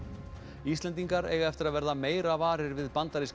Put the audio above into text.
Íslendingar eiga eftir að verða meira varir við bandaríska